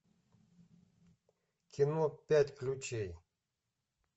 кино пять ключей